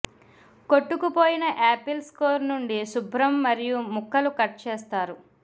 కొట్టుకుపోయిన apples core నుండి శుభ్రం మరియు ముక్కలు కట్ చేస్తారు